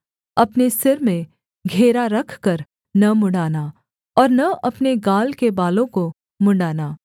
अपने सिर में घेरा रखकर न मुँण्ड़ाना और न अपने गाल के बालों को मुँण्ड़ाना